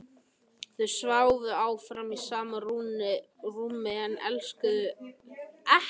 Þau sváfu áfram í sama rúmi en elskuðust ekki.